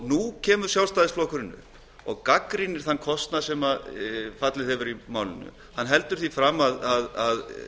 nú kemur sjálfstæðisflokkurinn upp og gagnrýnir þann kostnað sem orðið hefur og heldur því fram að